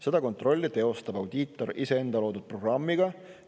Seda kontrolli teostab audiitor iseenda loodud programmi abil.